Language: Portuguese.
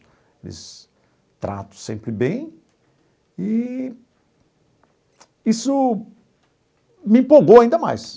Eles tratam sempre bem e isso me empolgou ainda mais.